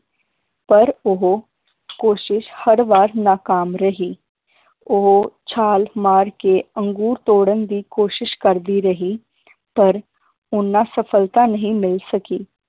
ਪਰ ਉਹ ਕੋਸ਼ਿਸ਼ ਹਰ ਵਾਰ ਨਾਕਾਮ ਰਹੀ ਉਹ ਛਾਲ ਮਾਰ ਕੇ ਅੰਗੂਰ ਤੋੜਨ ਦੀ ਕੋਸ਼ਿਸ਼ ਕਰਦੀ ਰਹੀ ਪਰ ਉਹਨਾਂ ਸਫਲਤਾ ਨਹੀ ਮਿਲ ਸਕੀ